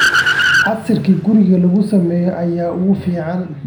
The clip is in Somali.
Casiirka guriga lagu sameeyo ayaa ugu fiican.